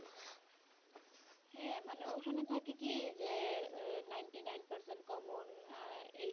হ্যা মানে ওখানে থাকে কি যে ah ninety nine percent common আহ